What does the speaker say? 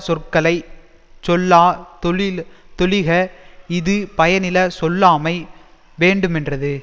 சொற்களை சொல்லா தொழில் தொழிக இது பயனில சொல்லாமை வேண்டுமென்றது